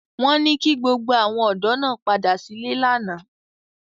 Wọ́n ní kí gbogbo àwọn ọ̀dọ́ náà padà sílé lánàá